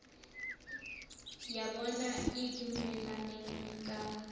ya bona e dumelaneng ka